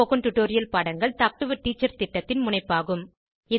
spoken tutorial பாடங்கள் talk to a teacher திட்டத்தின் முனைப்பாகும்